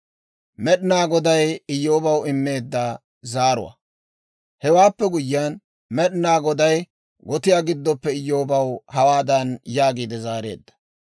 Hewaappe guyyiyaan, Med'inaa Goday gotiyaa giddoppe Iyyoobaw hawaadan yaagiide zaareedda;